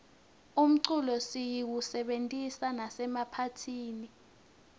umculo siyisebentisa nasemaphathini